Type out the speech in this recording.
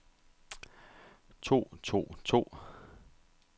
tog tog tog